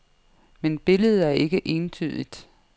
Men billedet er ikke entydigt.